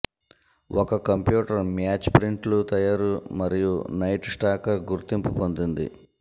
ఒక computer match ప్రింట్లు తయారు మరియు నైట్ స్టాకర్ గుర్తింపు పొందింది